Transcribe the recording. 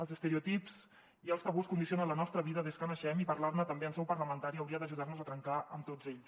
els estereotips i els tabús condicionen la nostra vida des que naixem i parlar ne també en seu parlamentària hauria d’ajudar nos a trencar amb tots ells